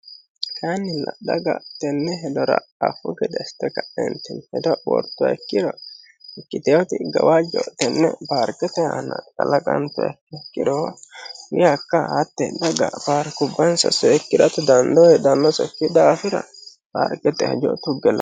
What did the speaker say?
kannilla dhaga tenne hilora afu gedeeste ka'enti hedo wortoekkiro ikkiteoti gawaajjo tenne baarqete aana laqanto ikk ikkiro hakka hatti daga baarkubbansa seekkiratu dandoo hidanno sokki daafira baarqete hejo tugge